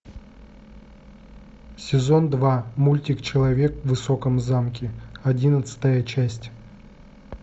сезон два мультик человек в высоком замке одиннадцатая часть